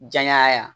Janya yan